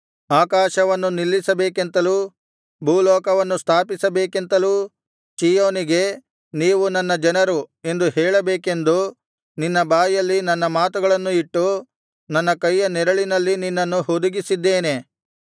ಆಕಾಶವನ್ನು ನಿಲ್ಲಿಸಬೇಕೆಂತಲೂ ಭೂಲೋಕವನ್ನು ಸ್ಥಾಪಿಸಬೇಕೆಂತಲೂ ಚೀಯೋನಿಗೆ ನೀವು ನನ್ನ ಜನರು ಎಂದು ಹೇಳಬೇಕೆಂದು ನಿನ್ನ ಬಾಯಲ್ಲಿ ನನ್ನ ಮಾತುಗಳನ್ನು ಇಟ್ಟು ನನ್ನ ಕೈಯ ನೆರಳಿನಲ್ಲಿ ನಿನ್ನನ್ನು ಹುದುಗಿಸಿದ್ದೇನೆ